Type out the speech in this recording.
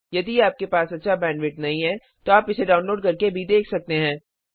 यदि आपके पास अच्छी बैंडविड्थ नहीं है तो आप इसे डाउनलोड करके भी देख सकते हैं